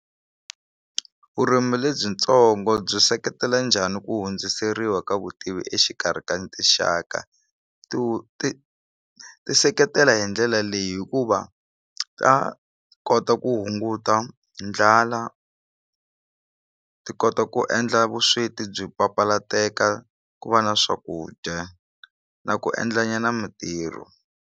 Vurimi lebyitsongo byi seketela njhani ku hundziseriwa ka vutivi exikarhi ka tinxaka to ti ti seketela hi ndlela leyi hikuva ta kota ku hunguta ndlala ti kota ku endla vusweti byi papalateka ku va na swakudya na ku endla nyana mintirho.